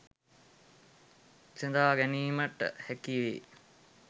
විසඳා ගැනීමට හැකිවේ.